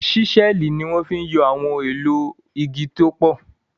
Ṣísẹ́ẹ̀lì ni wọ́n fi ń yọ àwọn ohun èlò igi tó pọ̀